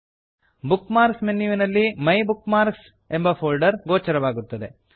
book marks ಮೆನ್ಯುವಿನಲ್ಲಿ my bookmarks my bookmarks ಎಂಬ folder ಗೋಚರವಾಗುತ್ತದೆ